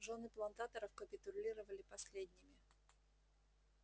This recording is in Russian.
жёны плантаторов капитулировали последними